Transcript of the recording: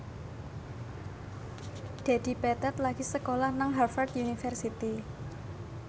Dedi Petet lagi sekolah nang Harvard university